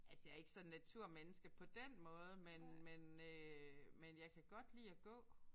Altså jeg er ikke sådan naturmenneske på den måde men men øh men jeg kan godt lide at gå